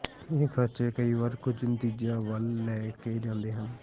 ਇਹ ਖਰਚੇ ਕਈ ਵਾਰ ਕੁਝ ਨਤੀਜਿਆਂ ਵੱਲ ਲੈ ਜਾਂਦੇ ਹਨ